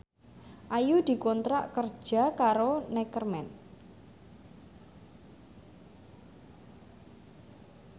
Ayu dikontrak kerja karo Neckerman